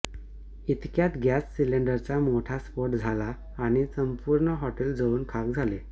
इतक्यात गॅस सिलेंडरचा मोठा स्फोट झाला आणि संपूर्ण हॉटेल जळून खाक झाले